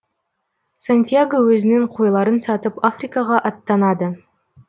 сантьяго өзінің қойларын сатып африкаға аттанады